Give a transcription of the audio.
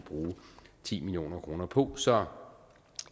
bruge ti million kroner på så